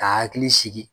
Ka hakili sigi